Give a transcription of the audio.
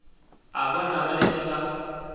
a bona ba letše ba